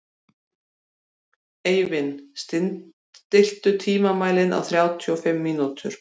Eivin, stilltu tímamælinn á þrjátíu og fimm mínútur.